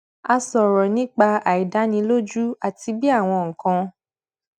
a sòrò nípa àìdánilójú àti bí àwọn nǹkan